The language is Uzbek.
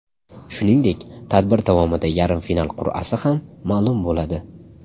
Shuningdek, tadbir davomida yarim final qur’asi ham ma’lum bo‘ladi.